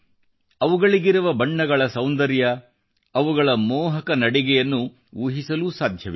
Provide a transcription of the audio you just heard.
ಅವುಗಳಿಗಿರುವ ಬಣ್ಣಗಳ ಸೌಂದರ್ಯ ಮತ್ತು ಅವುಗಳ ಮೋಹಕ ನಡಿಗೆಯನ್ನು ಊಹಿಸಲೂ ಸಾಧ್ಯವಿಲ್ಲ